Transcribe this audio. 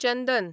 चंदन